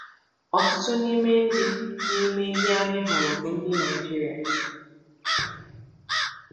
Ọtụtụ n’ime ndị n’ime ndị anyị hụrụ bụ ndị Naịjirịa.